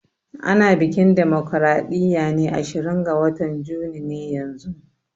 Ana biƙin damocraɗiya ne ashirin ga watan juni ne yanzun